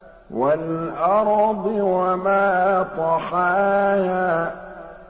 وَالْأَرْضِ وَمَا طَحَاهَا